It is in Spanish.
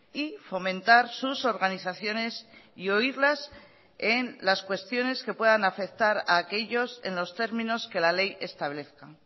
y fomentar sus organizaciones y oírlas en las cuestiones que puedan afectar a aquellos en los términos que la ley establezca